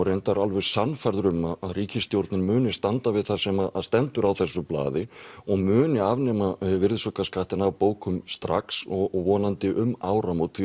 reyndar alveg sannfærður um að ríkisstjórnin muni standa við það sem stendur á þessu blaði og muni afnema virðisaukaskattinn af bókum strax og vonandi um áramót því